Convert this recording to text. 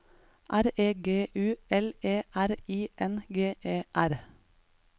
R E G U L E R I N G E R